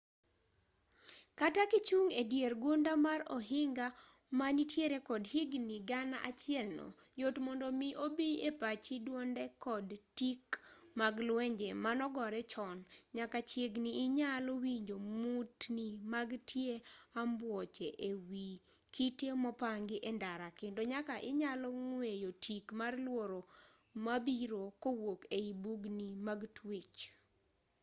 kata kichung' e dier gunda mar ohinga ma nitiere kod higni gana achiel no yot mondo mi obi e pachi dwonde kod tik mag lwenje manogore chon nyaka chiegni inyalo winjo mutni mag tie ambuoche e wi kite mopangi e ndara kendo nyaka inyalo ng'weyo tik mar luoro mabiro kowuok ei bugni mag twech